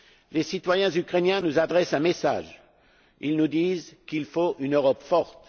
Les citoyens ukrainiens nous adressent un message. Ils nous disent qu'il faut une Europe forte.